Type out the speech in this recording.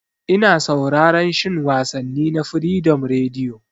Ina sauraran shin wasanni na Freedom Radio